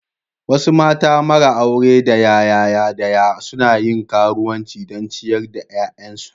Wasu mata mara aure daya yaya daya suna yin karuwanci don ciyar da 'ya'yansu.